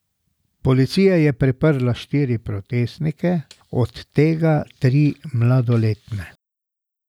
Policija je priprla štiri protestnike, od tega tri mladoletne.